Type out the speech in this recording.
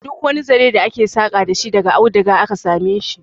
Duk wani zare da ake saka dashi daga aduga aka sameshi